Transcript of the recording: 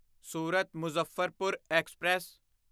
Surat Muzaffarpur express